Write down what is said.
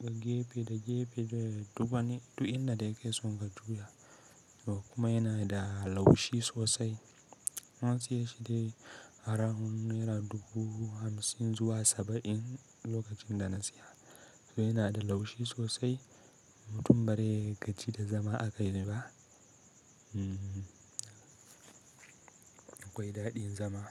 ga gefe da gefe duk wani, duk inda da kake son ka juya. Duk kuma yana da laushi sosai. Na siye shi dai around naira dubu hamsin zuwa saba'in lokacin da na siya. To yana da laushi sosai. Mutum ba zai gaji da zama a kai ne ba. Akwai daɗin zama.